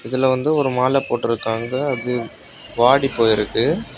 இதுல வந்து ஒரு மாலை போட்ருக்காங்க. அது வாடிப்போயிருக்கு.